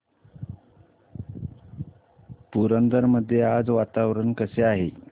पुरंदर मध्ये आज वातावरण कसे आहे